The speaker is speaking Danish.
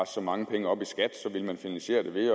så mange penge op i skat ville man finansiere det ved at